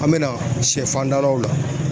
An be na sɛ fan dalaw la.